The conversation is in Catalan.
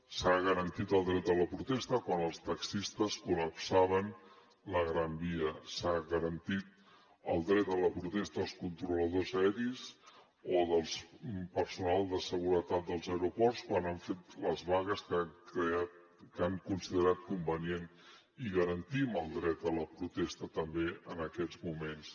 s’ha garantit el dret a la protesta quan els taxistes col·lapsaven la gran via s’ha garantit el dret a la protesta als controladors aeris o del personal de seguretat dels aeroports quan han fet les vagues que han considerat convenients i garantim el dret a la protesta també en aquests moments